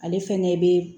Ale fɛnɛ be